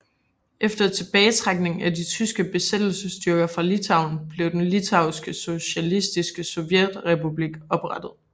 Efter tilbagetrækning af de tyske besættelsesstyrker fra Litauen blev den Litauiske Socialistiske Sovjetrepublik oprettet